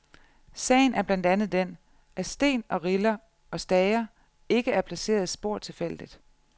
Sagen er blandt andet den, at sten og riller og stager ikke er placeret spor tilfældigt.